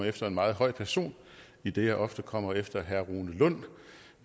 efter en meget høj person idet jeg ofte kommer på efter herre rune lund